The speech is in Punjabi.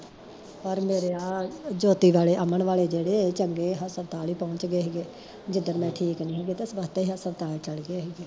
ਹੋਰ ਮੇਰੇ ਆ ਜੋਤੀ ਵਾਲੇ ਅਮਨ ਵਾਲੇ ਜੇੜੇ ਏ ਚੰਗੇ ਆ ਹਸਪਤਾਲ ਈ ਪਹੁੰਚਗੇ ਹੀ ਗੇ ਜਿਦਣ ਮੈਂ ਠੀਕ ਨੀ ਹੀ, ਬੱਸ ਤੇ ਹਸਪਤਾਲ ਚਲਗੇ ਹੀ ਗੇ